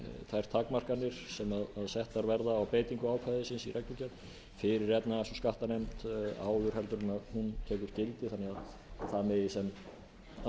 þær takmarkanir sem settar verða á breytingu ákvæðisins í reglugerð fyrir efnahags og skattanefnd áður en hún tekur gildi þannig að það megi sem allra mest